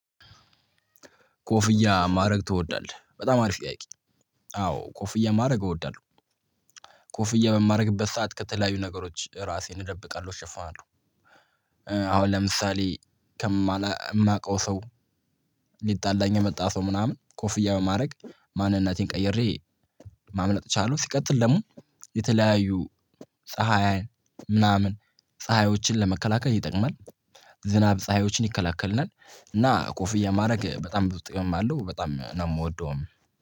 ኮፍያ ማድረግ ትወዳለህ በጣም አሪፍ ጥያቂ? አዎ ኮፍያ ማድረግ እወዳለሁ። ኮፍያ በማድረግበት ሰዓት ከተለያዩ ነገሮች ራሴን እደብቃለሁ እሸፋለሁ። አሁን ለምሳሌ ከማውቀው ሰው። ሊጣላኝ የመጣ ሰው ምናምን ኮፍያ በማድረግ ማንነቴን ቀይሬ ማምለጥ እችለው። ሲቀጥል ደግሞ የተለያዩ ፀሀይ ምናምን ፀሀዮችን ለመከላከል ይጠቅማል። ዝናብ ፀሀዮችን ይከላከልናል እና ኮፍያ ማድረግ በጣም ብዙ ጥቅም አለው። በጣም ነው የምወደው።